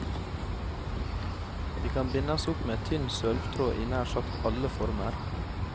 De kan bindes opp med tynn sølvtråd i nær sagt alle former.